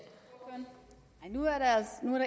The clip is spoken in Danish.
man